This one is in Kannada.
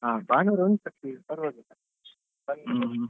ಹಾ ಭಾನುವಾರ ಉಂಟು free ಪರ್ವಾಗಿಲ್ಲ ಬನ್ನಿ